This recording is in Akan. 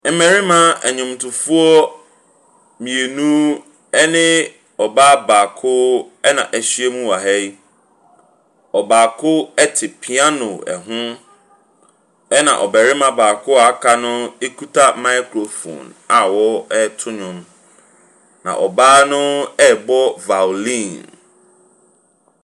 Mmarimma nwwomtofoɔ mmienu ɛne ɔbaa baako ɛn'ahyim wɔ ha yi. Ɔbaako ɛte piano ɛho ɛna barima baako a wɔaka no ekita microphone ɛreto nnwom na ɔbaa no rebɔ violin.